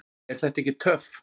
Er þetta ekki töff?